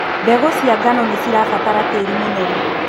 Mbegũ cia ngano nĩcirabatara tĩri mũnoru.